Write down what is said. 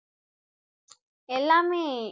எல்லாமே